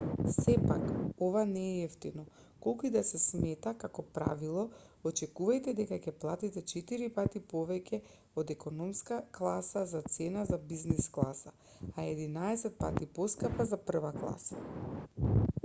сепак ова не е евтино колку и да се смета како правило очекувајте дека ќе платите четири пати повеќе од економска класа за цена за бизнис класа а единаесет пати поскапа за прва класа